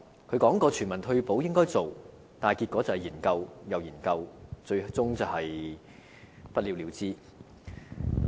他說過全民退保應該做，但結果是研究又研究，最終是不了了之。